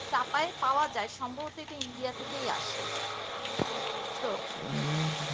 চাপাইয়ে পাওয়া যায় সম্ভবত ইন্ডিয়া থেকে আসে ঔষধ টা বুজিছো